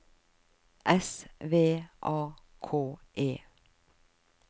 S V A K E